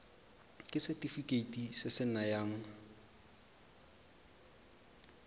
ke setefikeiti se se nayang